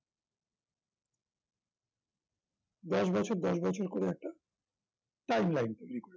দশ বছর দশ বছর করে একটা time line তৈরি করেছেন